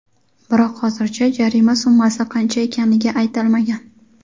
Biroq hozircha jarima summasi qancha ekanligi aytilmagan.